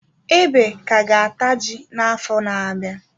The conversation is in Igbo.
Ebe ka ga-ata ji na-afo na-abịa.